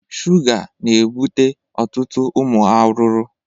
Shuga na ebute ọtụtụ ụmụ aruru